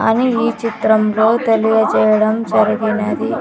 అని ఈ చిత్రంలో తెలియజేయడం జరిగినది.